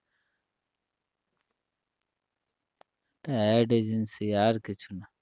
এটা AD agency আর কিছু না